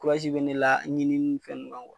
bɛ ne la ɲini nin fɛn ninnu kan